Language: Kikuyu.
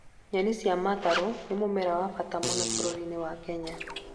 Nyeni cia matharũ nĩ mũmera wa bata mũno bũrũri-inĩ wa Kenya